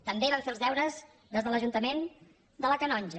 també van fer els deures des de l’ajuntament de la canonja